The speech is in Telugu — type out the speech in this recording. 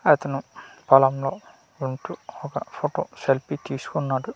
అతను పొలంలో ఉంటూ ఒక ఫోటో సెల్ఫీ తీసుకున్నాడు .